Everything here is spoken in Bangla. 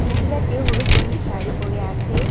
মহিলাটি হলুদ রঙের শাড়ি পড়ে আছে।